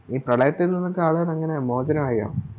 ഈ പ്രളയത്തിൽ നിന്നും എങ്ങനെയാ മോചനവായോ